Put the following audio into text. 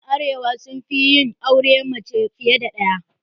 Ƴan arewa sun fi yin auren mace fiye da ɗaya.